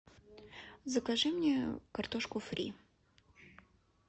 закажи мне картошку фри